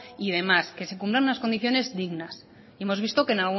y demás que se cumplan unas condiciones dignas hemos visto